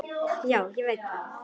Já, ég veit það